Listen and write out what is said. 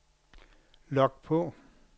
log på